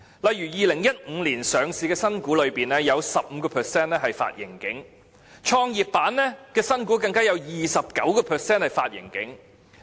例如在2015年上市的新股中，有 15% 發盈警，創業板的新股更有 29% 發盈警。